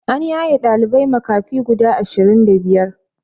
An yaye ɗalibai makafi guda ashirin da biyar